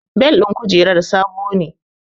Bel ɗin kujerar sabo ne